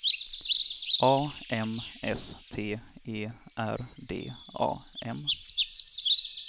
A M S T E R D A M